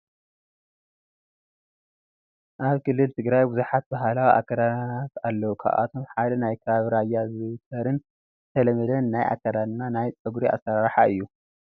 ኣብ ክልል ትግራይ ብዙሓት ባህላዊ ኣካዳድናታት ኣለው፡፡ ካብኣቶም ሓደ ናይ ከባቢ ራያ ዝዝውተርን ዝተለመደን ናይ ኣከዳድናን ናይ ፀጉሪ ኣሰራርሓን እዩ፡፡